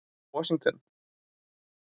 Washington